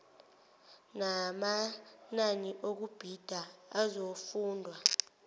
namanani okubhida azokufundwa